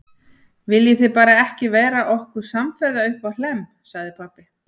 Viljið þið bara ekki verða okkur samferða uppá Hlemm, sagði pabbi.